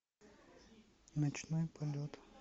ночной полет